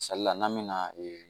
n'an bɛ na ee